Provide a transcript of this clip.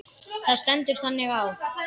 Það stendur þannig á.